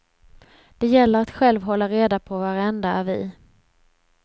Det gäller att själv hålla reda på varenda avi.